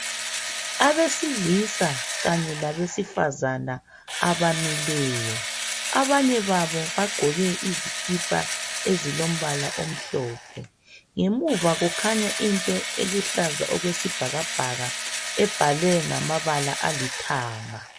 Abesilisa kanye labesifazana abamileyo. Abanye babo bagqoke izikipa ezilombala omhlophe. Ngemuva kukhanya into eluhlaza okwesibhakabhaka ebhalwe ngamabala alithanga.